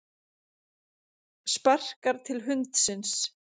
Sparkar til hundsins.